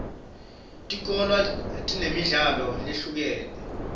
tikolwa tinemidlalo leyehlukene